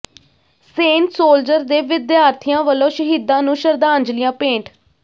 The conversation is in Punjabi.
ਸੇਂਟ ਸੋਲਜਰ ਦੇ ਵਿਦਿਆਰਥੀਆਂ ਵੱਲੋਂ ਸ਼ਹੀਦਾਂ ਨੂੰ ਸ਼ਰਧਾਂਜਲੀਆਂ ਭੇਟ